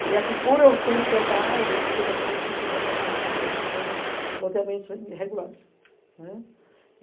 E, assim, por eu conhecer essa área, eu fiquei exatamente cuidando da parte de acompanhar loteamentos irregulares, né.